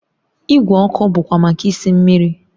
Igwe ọkụ bụkwa maka isi mmiri